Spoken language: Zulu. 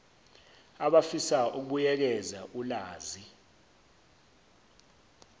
abafisa ukubuyekeza ulazi